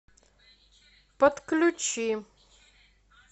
подключи